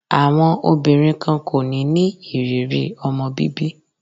Àwọn obìnrin kan kò ní ní ìrírí ọmọ bíbí.